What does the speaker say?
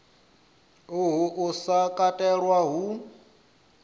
uhu u sa katelwa hu